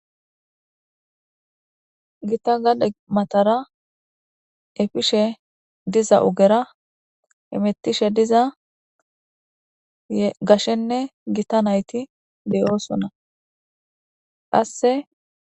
Gita gade matara efishe diza ogera hemetishe diz gashenne Gita nayt de'osona. qase...